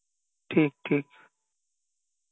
ঠিক ঠিক